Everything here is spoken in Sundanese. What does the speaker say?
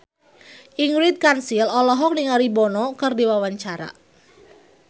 Ingrid Kansil olohok ningali Bono keur diwawancara